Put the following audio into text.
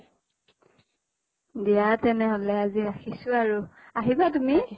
দিয়া তেনেহলে আজি ৰাখিছো আৰু আহিবা তুমি।